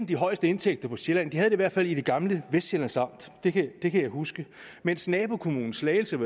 de højeste indtægter på sjælland de havde det i hvert fald i det gamle vestsjællands amt det kan jeg huske mens nabokommunen slagelse